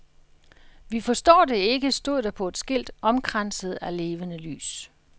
Vi forstår det ikke, stod der på et skilt omkranset af levende lys.